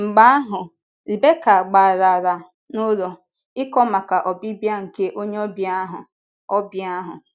Mgbe ahụ, Rebeka gbalara n’ụlọ, ịkọ maka ọbịbịa nke onye ọbịa ahụ. ọbịa ahụ.